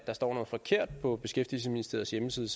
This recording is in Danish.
der står noget forkert på beskæftigelsesministeriets hjemmeside